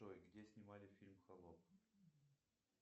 джой где снимали фильм холоп